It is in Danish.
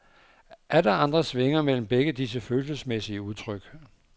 Atter andre svinger mellem begge disse følelsesmæssige udtryk.